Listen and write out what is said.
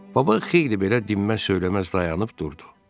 Baba xeyli belə dinməz-söyləməz dayanıb durdu.